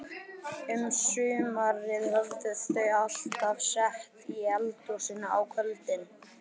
Um sumarið höfðu þau alltaf setið í eldhúsinu á kvöldin.